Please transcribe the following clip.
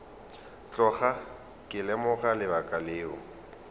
tloga ke lemoga lebaka leo